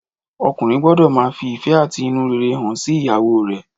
Ọkùnrin gbọ́dọ̀ máa fi ìfẹ́ àti inú rere hàn sí ìyàwó rè